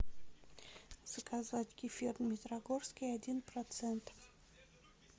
заказать кефир дмитрогорский один процент